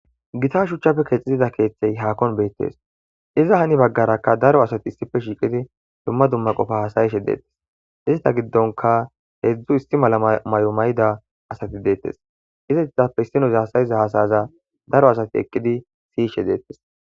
Gita shuchchappe kexida keeththay haahuwan beetees. Iza hini bagarakka daro asati issippe shiiqidi dumma dumma qofa haasayishe dees. Ista gidonkka heezzu issi mala mayo mayida asati deetes. izatappe issinozi haasayiza haasaya daro asati eqqidi siyishe deetes.